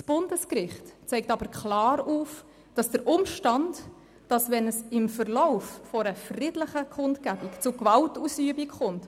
Das Bundesgericht zeigt aber klar auf, dass der Grundrechtsschutz nicht einfach hinfällig wird, wenn es im Verlauf einer friedlichen Kundgebung zu einer Gewaltausübung kommt.